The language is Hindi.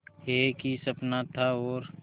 एक ही सपना था और